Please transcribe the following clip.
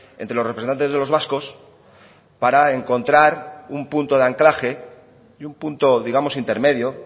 entre los representantes de los vascos para encontrar un punto de anclaje y un punto digamos intermedio